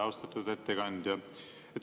Austatud ettekandja!